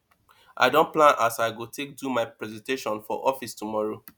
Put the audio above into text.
i don plan as i go take do my presentation for office tomorrow